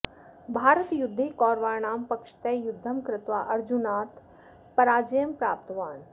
भारतयुद्धे कौरवाणां पक्षतः युद्धं कृत्वा अर्जुनात् पराजयं प्राप्तवान्